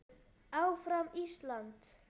ÁFRAM ÍSLAND!